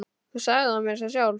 Þú sagðir það meira að segja sjálf!